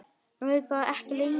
Nú er það ekki lengur.